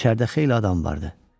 İçəridə xeyli adam vardı.